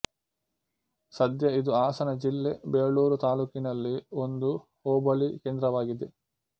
ಸದ್ಯ ಇದು ಹಾಸನ ಜಿಲ್ಲೆ ಬೇಲೂರು ತಾಲ್ಲೂಕಿನಲ್ಲಿ ಒಂದು ಹೋಬಳಿ ಕೇಂದ್ರವಾಗಿದೆ